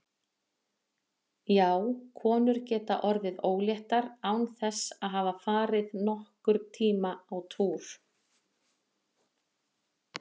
Já, konur geta orðið óléttar án þess að hafa farið nokkurn tímann á túr.